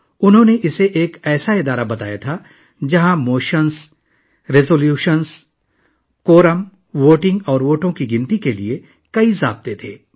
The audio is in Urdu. انہوں نے اسے ایک ایسا ادارہ قرار دیا جہاں تحریکوں، قراردادوں، کورم، ووٹنگ اور ووٹوں کی گنتی کے بہت سے اصول تھے